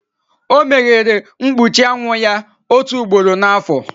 O meghere mkpuchi anwụ ya otu ugboro n'afọ.